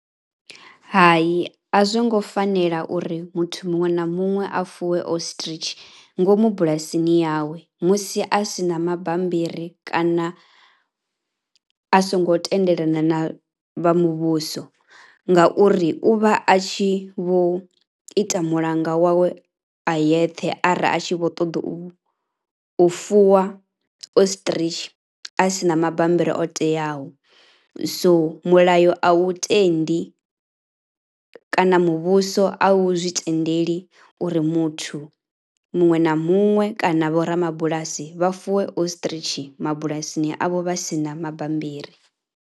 Hai a zwongo fanela uri muthu muṅwe na muṅwe a fuwe Ostrich ngomu bulasini yawe musi a si na mabambiri kana a songo tendelana na vha muvhuso ngauri u vha a tshi vho ita mulanga wawe ayeṱhe ara a tshi vho ṱoḓa u fuwa Ostrich a si na mabambiri o teaho. So mulayo a u tendi kana muvhuso a u zwi tendeli uri muthu muṅwe na muṅwe kana vhorabulasi vha fuwe Ostrich mabulasini avho vha si na mabambiri.